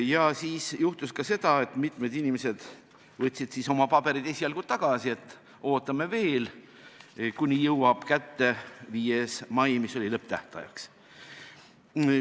Ja juhtus ka seda, et mitmed inimesed võtsid oma paberid esialgu tagasi, et ootame veel, kuni jõuab kätte 5. mai, mis oli uueks lõpptähtajaks.